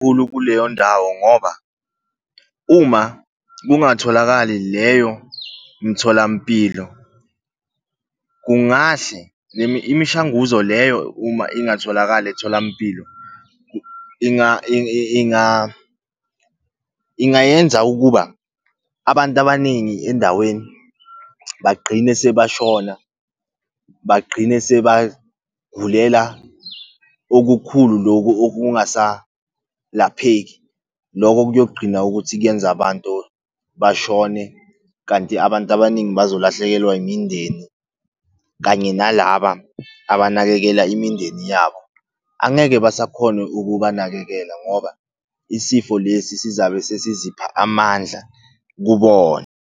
Kuleyo ndawo ngoba, uma kungatholakali leyo mtholampilo kungahle imishanguzo leyo uma ingatholakali etholampilo, ingayenza ukuba abantu abaningi endaweni bagqine sebashona, bagqine sebagulela okukhulu loku okungasalapheki. Loko kuyogqina ukuthi kuyenza abantu bashone kanti abantu abaningi bazolahlekelwa imindeni, kanye nalaba abanakekela imindeni yabo angeke basakhona ukubanakekela, ngoba isifo lesi sizabe sizipha amandla kubona.